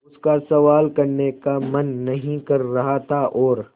उसका सवाल करने का मन नहीं कर रहा था और